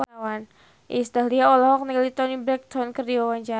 Iis Dahlia olohok ningali Toni Brexton keur diwawancara